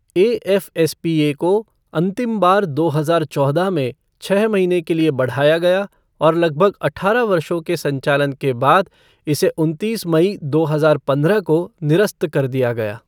A F S P A को अंतिम बार दो हजार चौदह में छह महीने के लिए बढ़ाया गया और लगभग अठारह वर्षों के संचालन के बाद इसे उनतीस मई दो हजार पंद्रह को निरस्त कर दिया गया।